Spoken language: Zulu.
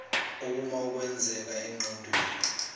ukoma okwenzeka engqondweni